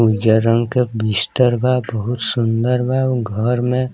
उज्जर रंग के बिस्तर बा बहुत सुन्दर बा उ घर में।